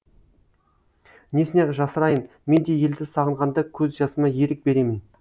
несіне жасырайын мен де елді сағынғанда көз жасыма ерік беремін